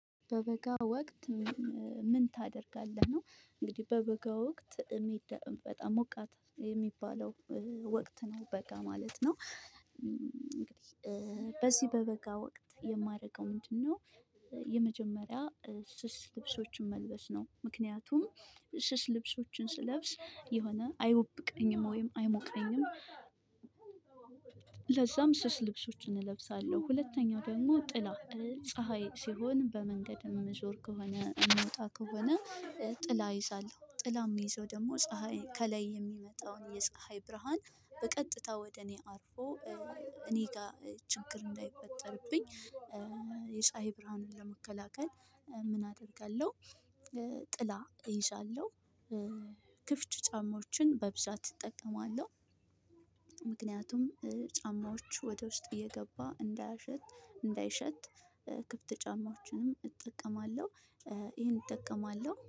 በበጋ ወቅት ምን ታደርጋለህ? ነው እንግዲህ በበጋ ወቅት በጣም ሞቃት የሚባለው ወቅት ነው በጋ ማለት ነው። እንግዲህ በዚህ በበጋ ወቅት የማደርገው ምንድነው? የመጀመሪያ ስስ ልብሶችን መልበስ ነው ምክንያቱም ስስ ልብሶችን ስለብስ የሆነ አይወብቀኝም ወይም አይሞቀኝም። ለዛም ስስ ልብሶችን እለብሳለሁ። ሁለተኛው ደግሞ ጥላ ፀሀይ ሲሆን በመንገድም እምንዞር ከሆነ እምወጣ ከሆነ። ጥላ ይይሳል ጥላ ምይዘው ደግሞ ፀሀይ ከላይ የሚመጣውን የፀሀይ ብርሃን በቀጥታ ወደ እኔ አርፎ እኔ ጋር ችግር እንዳይፈጠርብኝ። የፀሀይ ብርሃንን ለመከላከል ምን አደርጋለሁ? ጥላ እይሳለሁ። ክፍች ጫማዎችን በብዛት እጠቀማለሁ። ምክንያቱም ጫማዎች ወደ ውስጥ እየገባ እንዳያሸት እንዳይሸት ክፍት ጫማዎችንም እጠቀማለሁ። ይሄን እጠቀማለሁ